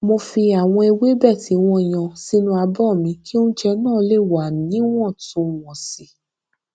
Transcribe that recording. mo fi àwọn ewébè tí wón yan sínú abó mi kí oúnjẹ náà lè wà níwòntúnwònsì